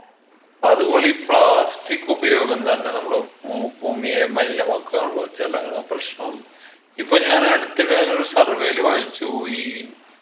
അതുപോലെ ഈ plastic ഉപയോഗം തന്നെ നമ്മടെ ഉം ഭൂമിയെ മലിനമാക്കു ആണല്ലോ ജലങ്ങൾ പ്രശ്നം ഇപ്പൊ ഞാൻ അടുത്തിടെയായി ഒരു survey യില് വായിച്ചു ഈ